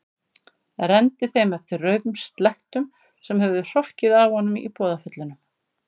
Renndi þeim eftir rauðum slettum sem höfðu hrokkið af honum í boðaföllunum.